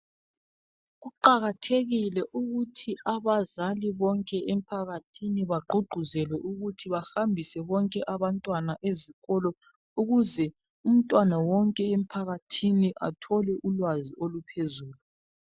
Kuqakathekile ukuthi abazali bonke emphakathini bagqugquzelwe ukuthi bahambise bonke abantwana ezikolo ukuze umntwana wonke emphakathini athole ulwazi oluphezulu.